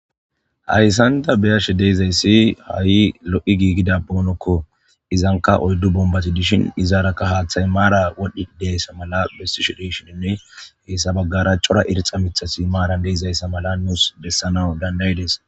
hayssanta beyashe deezayssi ha7i lo7i giigida boonokko izanka oyddu bombati dishin izaarakka haaththay maara wodhdhi deessa mala bessi shidishininne heessa baggara cora irxa mithasi maaran deezayssa mala nuus dessana dandaydees